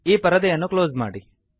ಈ ಪರದೆಯನ್ನು ಕ್ಲೋಸ್ ಮಾಡಿ